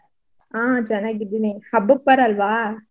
ಹಾ ಚನ್ನಾಗಿದೀನಿ ಹಬ್ಬಕ್ಕ್ ಬರಲ್ವಾ?